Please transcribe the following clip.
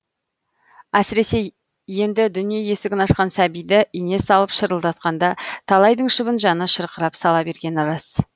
әсіресе енді дүние есігін ашқан сәбиді ине салып шырылдатқанда талайдың шыбын жаны шырқырап сала бергені рас